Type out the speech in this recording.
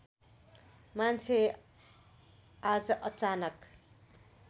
मान्छे आज अचानक